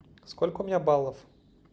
сколько у меня баллов